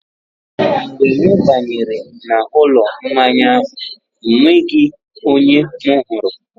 Mgbe m banyere n'ụlọ mmanya ahụ, ọ nweghị onye m hụrụ..